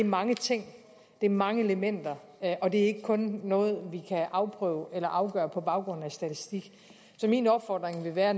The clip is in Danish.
mange ting det er mange elementer og det er ikke kun noget vi kan afprøve eller afgøre på baggrund af statistik så min opfordring vil være at